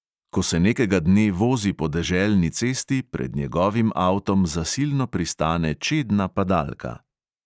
Ko se nekega dne vozi po deželni cesti, pred njegovim avtom zasilno pristane čedna padalka.